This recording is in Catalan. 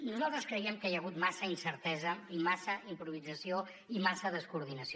nosaltres creiem que hi ha hagut massa incertesa i massa improvisació i massa descoordinació